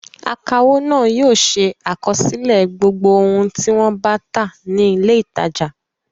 Akawó náà yóò ṣe àkọsílẹ̀ gbogbo ohun tí wọ́n bá tà ní ilé-ìtajà.